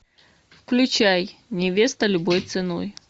включай невеста любой ценой